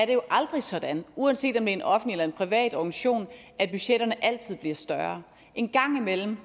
det jo aldrig er sådan uanset om en offentlig eller privat organisation at budgetterne altid bliver større en gang imellem